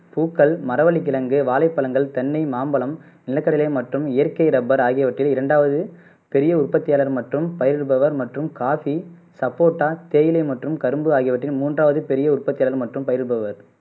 பூக்கள் மரவள்ளிக் கிழங்கு வாழைப்பழங்கள் தென்னை மாம்பழம் நிலக்கடலை மற்றும் இயற்கை ரப்பர் ஆகியவற்றில் இரண்டாவது பெரிய உற்பத்தியாளர் மற்றும் பயிரிடுபவர் மற்றும் காபி சப்போட்டா தேயிலை மற்றும் கரும்பு ஆகியவற்றில் மூன்றாவது பெரிய உற்பத்தியாளர் மற்றும் பயிரிடுபவர்